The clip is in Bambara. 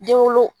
Denwolo